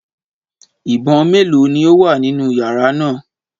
Ìbọn méèló ni ó wà nínú yàrá náà?